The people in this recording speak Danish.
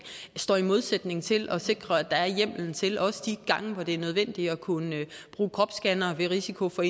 står i modsætning til at sikre at der er hjemmelen til også de gange hvor det er nødvendigt at kunne bruge kropsscannere ved risiko for